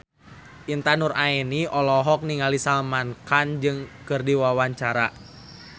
Intan Nuraini olohok ningali Salman Khan keur diwawancara